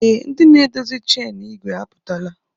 Ee, ndị na-adọzi chen ìgwè apụtala